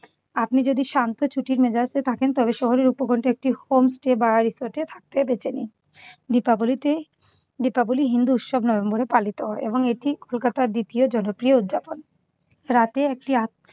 আপনি যদি শান্ত ছুটির মেজাজে থাকেন। তবে শহরের উপকন্ঠে একটি homestay বা resort থাকতে বেছে নিন। দিপাবলীতে দিপাবলী হিন্দু উৎসব নভেম্বরে পালিত হয় এবং এটি কলকাতার দ্বিতীয় জনপ্রিয় উদযাপন। রাতে একটি